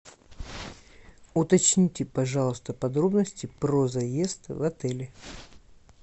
уточните пожалуйста подробности про заезд в отеле